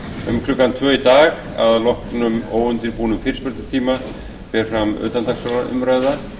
um klukkan tvö í dag að loknum óundirbúnum fyrirspurnartíma fer fram utandagskrárumræða